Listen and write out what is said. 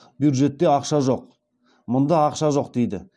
бюджетте ақша жоқ мында ақша жоқ дейді